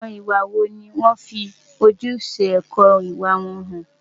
Àwọn ìwà wo ni ó ń fi ojúṣe ẹ̀kọ́ ìwà hàn?